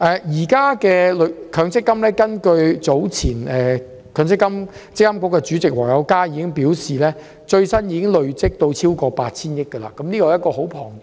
積金局主席黃友嘉早前表示，最新的強積金總資產已累積超過 8,000 億元，數字很龐大。